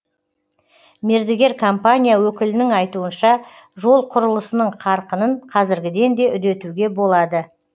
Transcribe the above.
мердігер компания өкілінің айтуынша жол құрылысының қарқынын қазіргіден де үдетуге болады